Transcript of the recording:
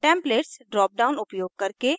templates drop down उपयोग करके